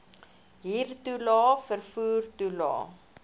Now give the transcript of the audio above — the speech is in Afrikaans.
huurtoelae vervoer toelae